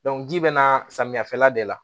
ji bɛna samiya fɛla de la